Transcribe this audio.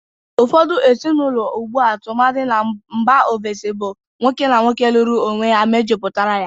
Ụfọdụ ezịnaụlọ ugbu a, tụmadị na mba ovesi, bụ nwoke na nwoke lụrụ onwe ha mejuputara ya.